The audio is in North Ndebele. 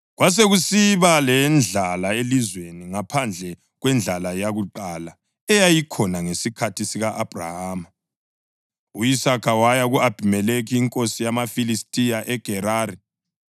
Kwasekusiba lendlala elizweni, ngaphandle kwendlala yakuqala eyayikhona ngesikhathi sika-Abhrahama, u-Isaka waya ku-Abhimelekhi inkosi yamaFilistiya eGerari.